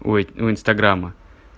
ой у инстаграма